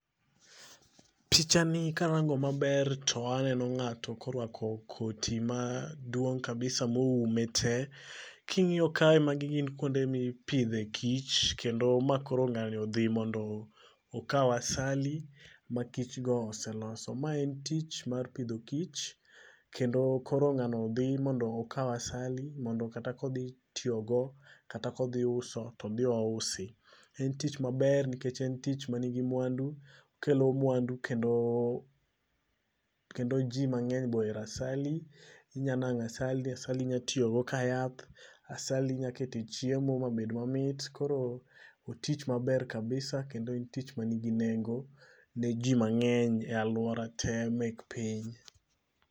Pichani karango maber to aneno ng'ato korwako koti ma duong' kabisa moume te. King'iyo kae mag gin kwonde mipidhe e kich kendo ma koro ng'ani odhi mondo, okaw asali makich go oseloso. Ma en tich mar pidho kich, kendo kor ng'ano dhi mondo okaw asali mondo kata kodhi tiyogo , kata kodhi uso todhi ousi. En tich maber nikech en tich ma nigi mwandu, okelo mwandu kendo kendo jii mang'eny boero asali. Inyanang'o asali, asali inyatiyo go ka yath, asali inyakete e chiemo mabed mamit, koro otich maber kabisa kendo en tich manigi nengo ne jii mang'eny e alwora te mek piny